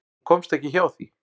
Hún komst ekki hjá því.